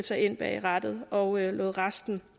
sig ind bag rattet og lod resten